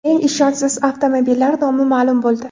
Eng ishonchsiz avtomobillar nomi ma’lum bo‘ldi.